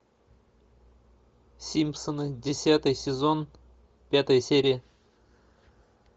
симпсоны десятый сезон пятая серия